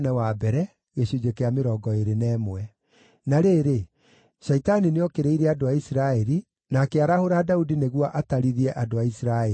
Na rĩrĩ, Shaitani nĩookĩrĩire andũ a Isiraeli, na akĩarahũra Daudi nĩguo atarithie andũ a Isiraeli.